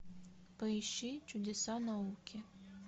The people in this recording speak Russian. поищи чудеса науки